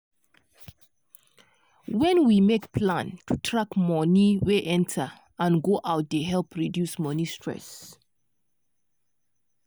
wen we make plan to track money wey enter and go out dey help reduce money stress.